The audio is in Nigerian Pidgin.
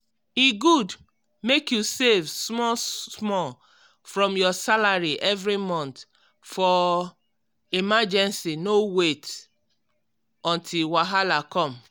e good mek you save small-small from your salary every month for emergency no wait until wahala come.